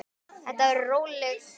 Þetta verður róleg gleði bara.